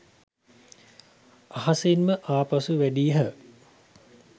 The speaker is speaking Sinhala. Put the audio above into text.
අහසින්ම ආපසු වැඩියහ